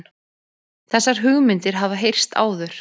Þessar hugmyndir hafa heyrst áður